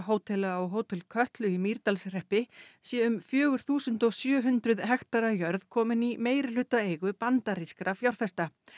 hótela á Hótel Kötlu í Mýrdalshreppi sé um fjögur þúsund sjö hundruð hektara jörð komin í meirihlutaeigu bandarískra fjárfesta